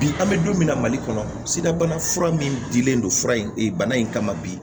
Bi an bɛ don min na mali kɔnɔ sidabana fura min dilen don fura in bana in kama bi